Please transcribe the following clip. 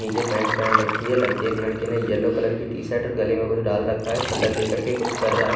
निचे पेंट पहन रखी है लड़के और लडकी ने येल्लो कलर की टी- शर्ट और गले में कुछ डाल रखा है कलर लेके कुछ कर रहा है।